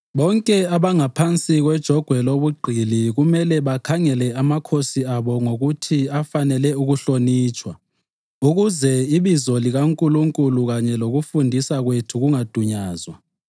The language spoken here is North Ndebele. Bonke abangaphansi kwejogwe lobugqili kumele bakhangele amakhosi abo ngokuthi afanele ukuhlonitshwa ukuze ibizo likaNkulunkulu kanye lokufundisa kwethu kungadunyazwa.